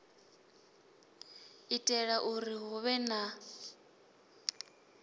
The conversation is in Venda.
itela uri hu vhe na